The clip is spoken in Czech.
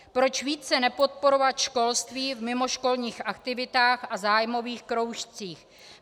Proč více nepodporovat školství v mimoškolních aktivitách a zájmových kroužcích?